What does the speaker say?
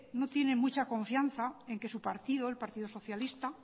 no tiene mucha confianza en que su partido el partido socialista